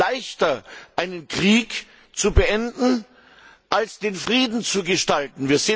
Es ist leichter, einen Krieg zu beenden als den Frieden zu gestalten.